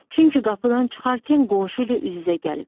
Çünki qapıdan çıxarkən qonşu ilə üz-üzə gəlib.